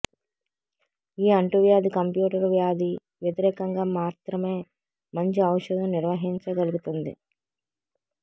ఈ అంటువ్యాధి కంప్యూటర్ వ్యాధి వ్యతిరేకంగా మాత్రమే మంచి ఔషధం నిర్వహించగలుగుతుంది